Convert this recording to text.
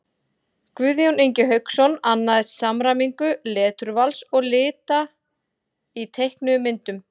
Guðjón Ingi Hauksson annaðist samræmingu leturvals og lita í teiknuðum myndum.